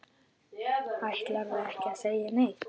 Ætlarðu ekki að segja neitt?